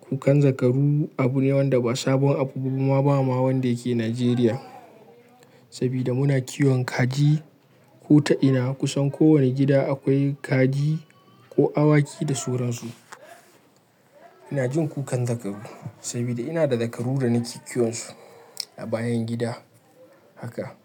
Kukan zakaru abu ne wanda ba sabon abu ba boma ba wanda yake Najeriya saboda muna kiwon kaji. Ko ta ina kusan kowane gida akwai kaji ko awaki da suransu. Ina jin kukan zakaru saboda ina da zakaru da nake kiwon su a bayan gida haka.